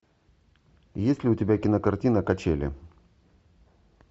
есть ли у тебя кинокартина качели